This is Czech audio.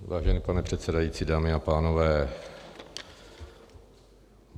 Vážený pane předsedající, dámy a pánové.